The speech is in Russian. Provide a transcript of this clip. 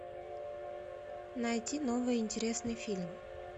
найти новый интересный фильм